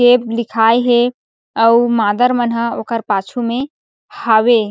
Cab लिखाए हे और मादर मन ह ओकर पाछु में हावे।